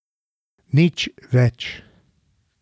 Nič več.